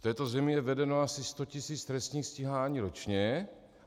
V této zemi je vedeno asi sto tisíc trestních stíhání ročně.